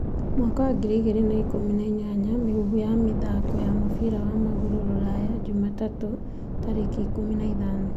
2018 Mĩhuhu ya mĩthaako ya mũbira wa magũrũ rũraya jumatatũ 15.